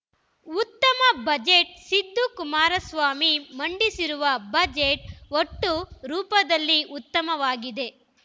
ಉತ್ತಮ ಬಜೆಟ್‌ ಸಿದ್ದು ಕುಮಾರಸ್ವಾಮಿ ಮಂಡಿಸಿರುವ ಬಜೆಟ್‌ ಒಟ್ಟು ರೂಪದಲ್ಲಿ ಉತ್ತಮವಾಗಿದೆ